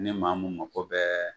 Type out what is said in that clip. Ne maa mun mako bɛɛ